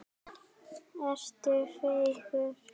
Ertu feigur?